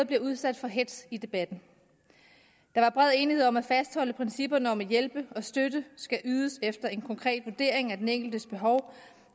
bliver udsat for hetz i debatten der var bred enighed om at fastholde principperne om at hjælp og støtte skal ydes efter en konkret vurdering af den enkeltes behov og